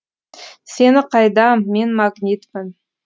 сені қайдам мен магнитпін